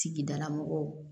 Sigidala mɔgɔw